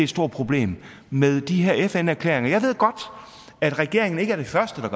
stort problem med de her fn erklæringer jeg ved godt at regeringen ikke er den første der